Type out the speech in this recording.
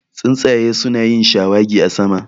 Tsuntsaye su na yin shawagi a sama